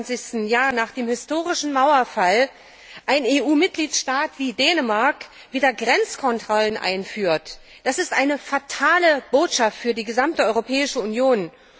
22. Jahr nach dem historischen Mauerfall ein EU Mitgliedstaat wie Dänemark wieder Grenzkontrollen einführt? Das ist eine fatale Botschaft für die gesamte Europäische Union.